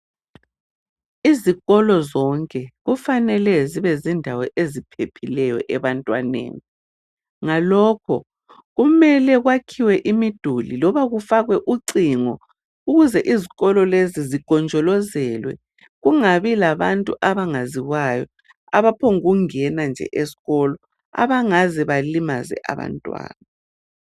Izikolo zonke kufanele zibe zindawo eziphephileyo ebantwaneni ngalokho kumele kwakhiwe imiduli loba kufakwe ucingo ukuze izikolo lezi zigonjolozelwe kungabi labantu abaziwayo abaphombukungena nje esikolo abangaze balimaze abantwana